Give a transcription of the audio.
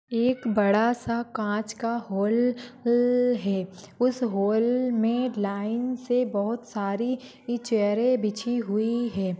बड़ा सा काँच का हॉल अह है उस हॉल में लाइन से बहुत सारी ई चेयरे बिछी हुई है।